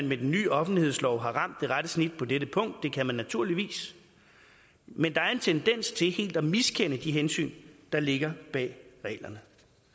med den ny offentlighedslov har ramt det rette snit på dette punkt det kan man naturligvis men der er en tendens til helt at miskende de hensyn der ligger bag reglerne